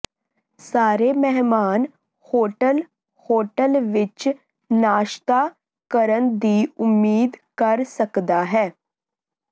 ਸਾਰੇ ਮਹਿਮਾਨ hotel hotel ਵਿਚ ਨਾਸ਼ਤਾ ਕਰਨ ਦੀ ਉਮੀਦ ਕਰ ਸਕਦਾ ਹੈ